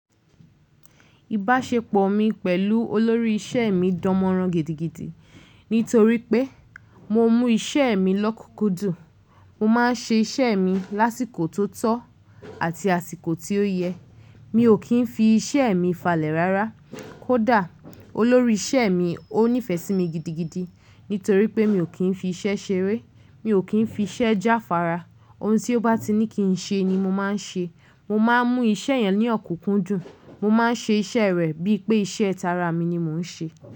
Ìbáṣepọ̀ mi pẹ̀lú olórí iṣẹ́ mi dánmọrán gidigidi nítorí pé mo mún iṣẹ́ mi lọ́kùkú dùn. Mo máa ń ṣe iṣẹ́ mi lásìkò tó tọ́ àti àsìkò tí ó yẹ. Mi ò kí ń fi iṣẹ́ mi falẹ̀ rárá. Kódà olórí iṣẹ́ mi ó nífẹ̀ẹ́ sí mi gidigidi nítorí pé mi ò kí ń fi iṣẹ́ ṣeré. Mi ò kí ń fi iṣẹ́ jáfara. Ohun tí ó bá ti ní kí n ṣe ni mo máa ń ṣe. Mo máa ń mú iṣẹ́ yẹn ní ọ̀kùkù dùn. Mo máa ń ṣe iṣẹ́ rẹ̀ bí i pé iṣẹ́ ara mi ni mò ń ṣe.